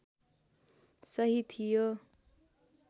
सही थियो